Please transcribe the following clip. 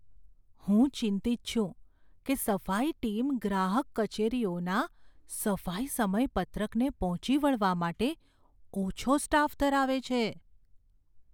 હું ચિંતિત છું કે સફાઈ ટીમ ગ્રાહક કચેરીઓના સફાઈ સમયપત્રકને પહોંચી વળવા માટે ઓછો સ્ટાફ ધરાવે છે.